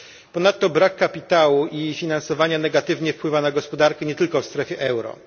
Ponadto brak kapitału i finansowania negatywnie wpływa na gospodarkę nie tylko w strefie euro.